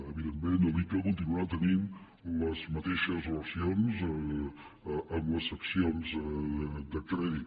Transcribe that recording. evidentment l’icca continuarà tenint les mateixes relacions amb les seccions de crèdit